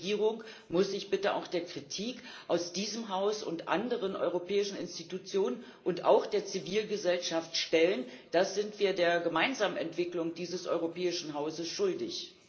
Und die Regierung muss sich bitte auch der Kritik aus diesem Haus und anderen europäischen Institutionen und auch der Zivilgesellschaft stellen. Das sind wir der gemeinsamen Entwicklung dieses europäischen Hauses schuldig!